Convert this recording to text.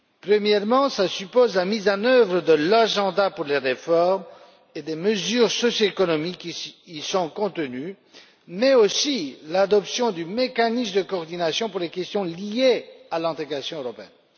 Premièrement, cela suppose la mise en œuvre de l'agenda pour les réformes et des mesures socio économiques qui y sont contenues, mais aussi l'adoption du mécanisme de coordination pour les questions liées à l'intégration européenne.